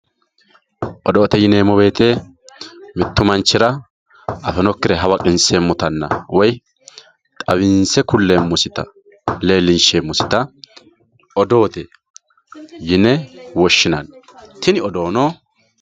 odoote yineemmo woyiite mittu manchira afinokkire hawaqinseemmotanna woyi xawinse kulleemmosita leellinsheemmosita odoote yine woshinanni tini odoono